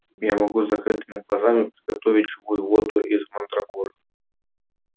я могу с закрытыми глазами приготовить живую воду из мандрагор